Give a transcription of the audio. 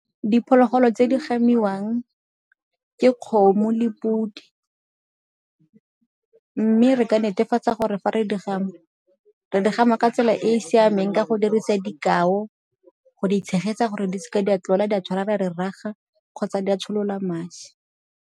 Diphologolo tse di gamiwang ke kgomo le podi mme re ka netefatsa gore fa re di gama, re di gama ka tsela e e siameng ka go dirisa dika, go itshegetsa gore di seke di a tlola di a tshwara raga kgotsa di a tsholola madi.